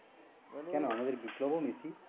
কেন আমদের বিপ্লব ও মেসি?